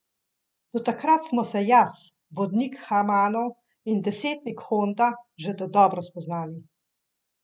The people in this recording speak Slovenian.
Do takrat smo se jaz, vodnik Hamano in desetnik Honda že dodobra spoznali.